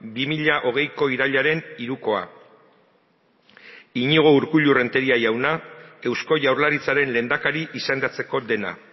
bi mila hogeiko irailaren hirukoa iñigo urkullu renteria jauna eusko jaurlaritzaren lehendakari izendatzeko dena